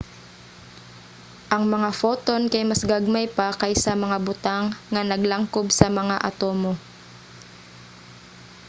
ang mga photon kay mas gagmay pa kaysa mga butang nga naglangkob sa mga atomo!